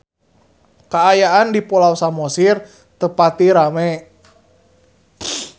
Kaayaan di Pulau Samosir teu pati rame